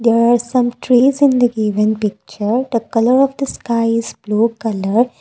there are some trees in the given picture the colour of the sky is blue colour.